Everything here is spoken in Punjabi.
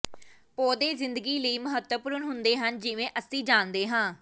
ਪੌਦੇ ਜ਼ਿੰਦਗੀ ਲਈ ਮਹੱਤਵਪੂਰਨ ਹੁੰਦੇ ਹਨ ਜਿਵੇਂ ਅਸੀਂ ਜਾਣਦੇ ਹਾਂ